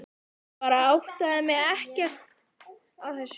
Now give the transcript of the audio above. Ég bara áttaði mig ekkert á þessu.